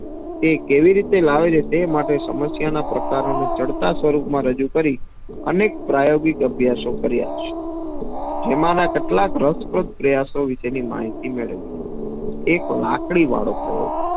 તે કેવી રીતે લાવે છે. તેમાટે સમસ્યાના પ્રકારનું ચડતા સ્વરૂપ માં રજૂ કરી અનેક પ્રાયોગિક અભ્યાસો કાર્ય છે જેમના કેટલાક રસપ્રદ પ્રયાસો વિશેની માહિતી મેળવી એક લાકડી વાળો પ્રયોગ